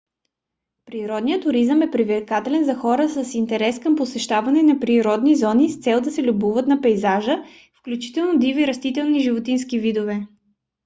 природният туризъм е привлекателен за хора с интерес към посещаване на природни зони с цел да се любуват на пейзажа включително диви растителни и животински видове